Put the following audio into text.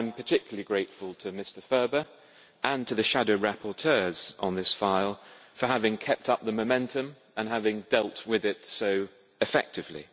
I am particularly grateful to Mr Ferber and to the shadow rapporteurs on this file for having kept up the momentum and having dealt with it so effectively.